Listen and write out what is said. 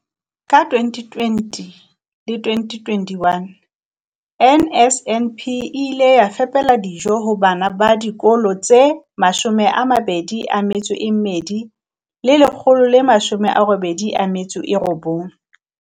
Ka 2020-21, NSNP e ile ya fepela dijo ho bana ba dikolo tse 21 189.